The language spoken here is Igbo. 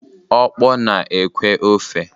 Okpor na-ekwẹ́ ofe.